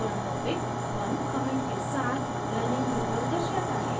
forum topic 1 comment के साथ learning drupal दर्शाता है